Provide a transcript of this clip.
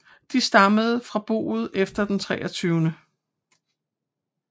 De stammer fra boet efter den 23